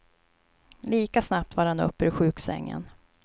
Lika snabb var han upp ur sjuksängen.